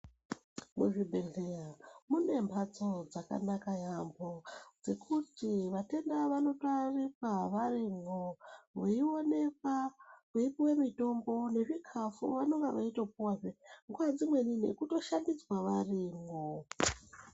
Muchibhedhleya mune mphatso dzakanaka yampho dzekuti vatenda vanotoyarikwa varimwo veionekwa veipuwe mutombo nezvikafu vanenge veitopuwazve nguwa dzimweni nekutoshambidzwa varimwo.